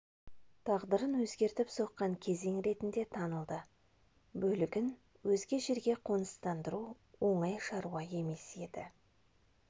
тағдырын өзгертіп соққан кезең ретінде танылды бөлігін өзге жерге қоныстандыру оңай шаруа емес еді